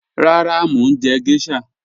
Rárá, mo ń jẹ̀ gẹ̀ṣhà.